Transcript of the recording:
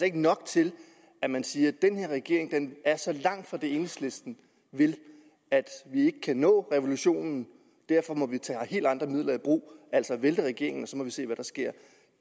ikke nok til at man siger den her regering er så langt fra det enhedslisten vil at vi ikke kan nå revolutionen og derfor må vi tage helt andre midler i brug altså vælte regeringen og så må vi se hvad der sker